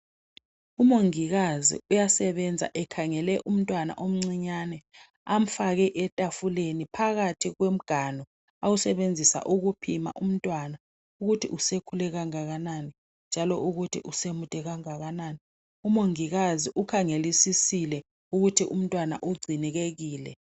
Umongikazi uyasebenza ekhangele umntwana omncinyane amfake etafuleni phakathi komganu awusebenzisa ukupima umntwana ukuthi usekhule kangakanani njalo ukuthi usemude kangakanani. Umongikazi ukhangelisisile ukuthi umntwana ugcinekekile.